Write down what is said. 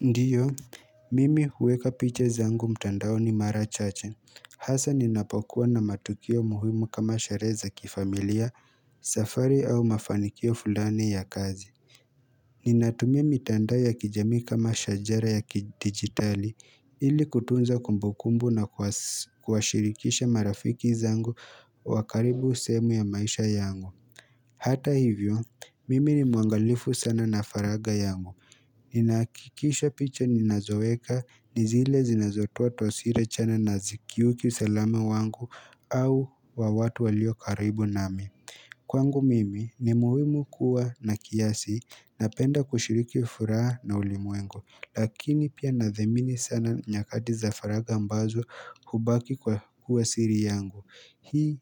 Ndiyo, mimi huweka picha zangu mtandaoni mara chache. Hasa ninapokuwa na matukio muhimu kama sherehe za kifamilia, safari au mafanikio fulani ya kazi. Ninatumia mitandao ya kijami kama shajara ya kidijitali ili kutunza kumbukumbu na kuwashirikisha marafiki zangu wa karibu sehemu ya maisha yangu. Hata hivyo, mimi ni muangalifu sana na faragha yangu. Ninahakikisha picha ninazoweka ni zile zinazotoa taswira chanya na hazikiuki usalama wangu au wa watu walio karibu nami Kwangu mimi ni muhimu kuwa na kiasi napenda kushiriki furaha na ulimwengu lakini pia nadhamini sana nyakati za faragha ambazo hubaki kwa kuwa siri yangu Hii